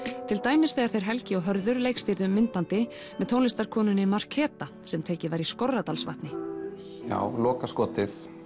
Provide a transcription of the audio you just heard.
til dæmis þegar þeir Helgi og Hörður myndbandi með tónlistarkonunni Markeba sem tekið var í Skorradalsvatni lokaskotið